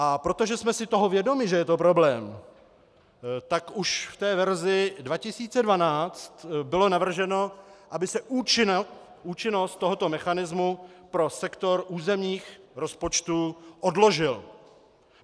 A protože jsme si toho vědomi, že je to problém, tak už v té verzi 2012 bylo navrženo, aby se účinnost tohoto mechanismu pro sektor územních rozpočtu odložila.